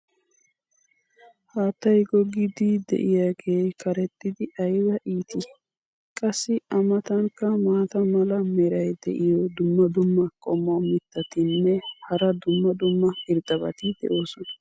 haattay goggiiddi diyaagee karexxidi ayba ittii? qassi a matankka maata mala meray diyo dumma dumma qommo mittatinne hara dumma dumma irxxabati de'oosona.